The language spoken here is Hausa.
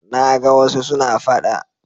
Na ga wasu suna faɗa.